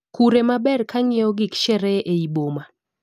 Kure ma ber kanyieo gik sherehe eiy boma